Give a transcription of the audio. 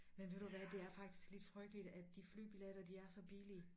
Men ved du hvad det er faktisk lidt frygteligt at de flybilletter de er så billige